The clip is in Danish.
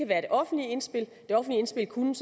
være det offentlige indspil det offentlige indspil kunne